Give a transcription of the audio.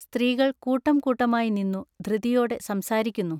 സ്ത്രീകൾ കൂട്ടം കൂട്ടമായിനിന്നു ധൃതിയൊടെ സംസാരിക്കുന്നു.